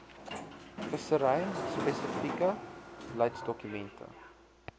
vissery spesifieke beleidsdokumente